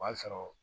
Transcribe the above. O y'a sɔrɔ